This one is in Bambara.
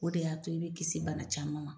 O de y'a to i bi kisi bana caman ma.